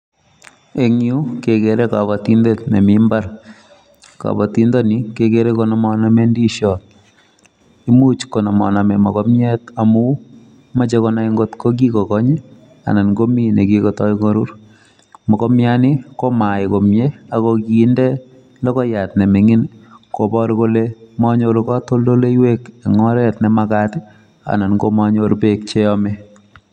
ing'yu kegeere kabatindet nemi mbar. kabatindet ni kegere konamaname ndisiot muuch konamanami mogomiet amu meche konai ngotko kikokony anan komi nekikotoi korur . mogomiani komayai komyie ako kiinde logoiyat nemining' koboor kole manyoor katondoloiwek ing' oret nemagaat anan manyoor peek cheyame